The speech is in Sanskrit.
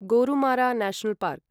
Gorumara national park